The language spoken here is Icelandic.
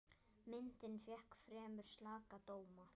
Myndin fékk fremur slaka dóma.